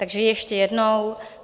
Takže ještě jednou.